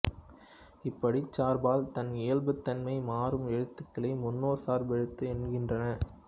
இப்படிச் சார்பால் தன் இயல்புத்தன்மை மாறும் எழுத்துகளை முன்னோர் சார்பெழுத்து என்றனர்